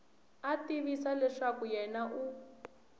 a tivisa leswaku yena u